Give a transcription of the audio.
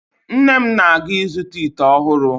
Nne m na-aga ịzụta ite ọhụrụ